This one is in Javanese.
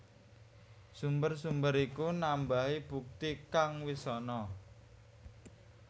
Sumber sumber iku nambahi bukti kang wis ana